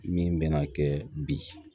Min bɛna kɛ bi